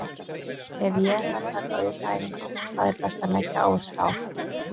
Ef ég ætla að taka aukaæfingu, hvað er best að leggja áherslu á?